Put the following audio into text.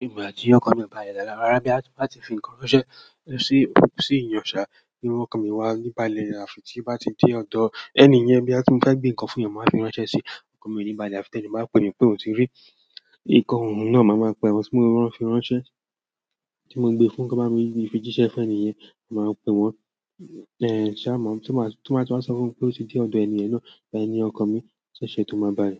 Ìgbà tí ọkọ̀ mi ò bá sí lára, rárá. Bí a bá ti fi nǹkan ránṣẹ́ sí ẹni tó ń ṣiṣẹ́ ìrànṣẹ́, bí ọkọ̀ mi bá wà níbàlẹ̀, tí a bá ti dé ọ̀dọ̀ ẹni yẹn, bí a bá gbé nǹkan fún wọn, màá fi ránṣẹ́ sí ọkọ̀ mi níbàlẹ̀. Àfi tí ẹni yẹn bá pè mí pé ò tíì rí i. Ìkọ̀, ohun náà, màá máa pè ẹni tí mo fi ránṣẹ́, tí mo gbé fún, kí wọ́n fi jíṣẹ́ fún ẹni yẹn; màá pè wọ́n. Ẹ̀ṣá mọ̀, tí wọ́n bá sọ fún mi pé ó ti dé ọ̀dọ̀ ẹni yẹn náà, báwo ni ọkọ̀ mi ṣe ṣe tó máa bá a?